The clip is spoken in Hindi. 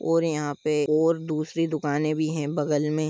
और यहा पे और दूसरी दुकाने भी है बगल में।